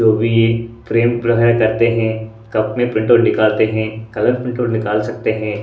तो वे ये फ्रेम करते हैं कप में प्रिंटआउट निकालते हैं कलर प्रिंटआउट निकाल सकते हैं।